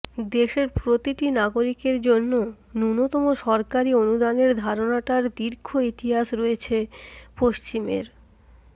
দেশের প্রতিটি নাগরিকের জন্য ন্যূনতম সরকারি অনুদানের ধারণাটার দীর্ঘ ইতিহাস রয়েছে পশ্চিমের